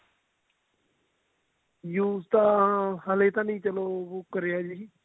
use ਤਾਂ ਹਲੇ ਤਾਂ ਨੀ ਚਲੋ ਕਰਿਆ ਜੀ